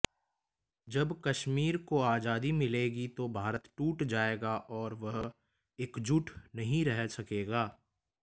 जब कश्मीर को आजादी मिलेगी तो भारत टूट जाएगा और वह एकजुट नहीं रह सकेगा